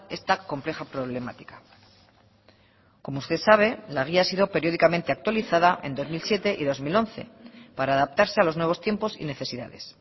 esta compleja problemática como usted sabe la guía ha sido periódicamente actualizada en dos mil siete y dos mil once para adaptarse a los nuevos tiempos y necesidades